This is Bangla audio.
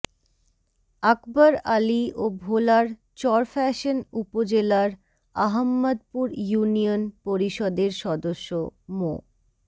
আকবর আলী ও ভোলার চরফ্যাশন উপজেলার আহাম্মদপুর ইউনিয়ন পরিষদের সদস্য মো